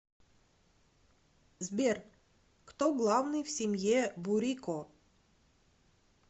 сбер кто главный в семье бурико